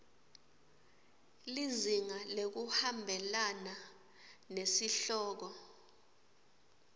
lizinga ngekuhambelana nesihloko